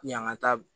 Yanga taa